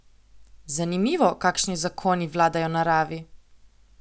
Zanimivo, kakšni zakoni vladajo naravi!